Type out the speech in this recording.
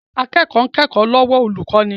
Akẹ́kọ̀ọ́ ń kẹ́kọ̀ọ́ lọ́wọ́ olùkọ́ni